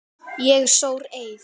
Ég sór eið.